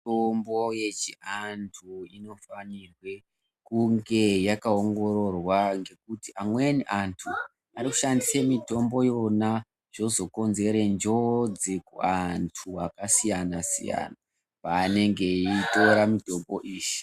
Mitombo yechiantu inofanirwe kunge yakaongororwa ngekuti amweni antu, ari kushandise mitombo yona zvozokonzere njodzi kuantu akasiyana-siyana vaanenge eyitora mitombo iyi.